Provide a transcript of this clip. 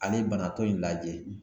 Ani banatɔ in lajɛ.